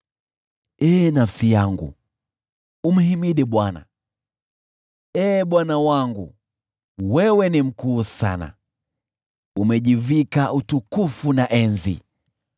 Ee nafsi yangu, umhimidi Bwana . Ee Bwana Mungu wangu, wewe ni mkuu sana, umejivika utukufu na enzi.